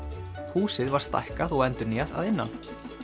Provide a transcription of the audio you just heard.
húsið var stækkað og endurnýjað að innan